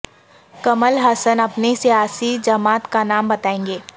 کمل ہاسن اپنی سیاسی جماعت کا نام بتائیں گے